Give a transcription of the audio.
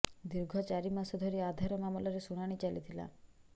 ଦୀର୍ଘ ଚାରି ମାସ ଧରି ଆଧାର ମାମଲାର ଶୁଣାଣି ଚାଲିଥିଲା